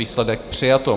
Výsledek: přijato.